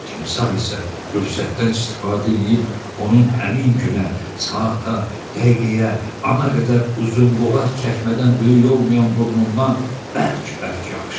Timsah isə fürsətdən istifadə eləyib, onun həmin günə, saata, dəqiqəyə, ana qədər uzunboğaz çəkmədən böyük olmayan burnundan bərk-bərk yapışdı.